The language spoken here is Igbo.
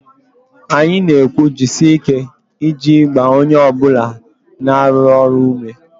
Anyị na-ekwu 'jisie ike' iji gbaa onye ọ bụla na-arụ ọrụ ume